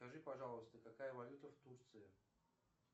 скажи пожалуйста какая валюта в турции